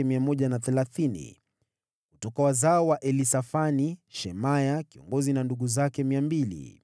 Kutoka wazao wa Elisafani, Shemaya kiongozi na ndugu zake 200.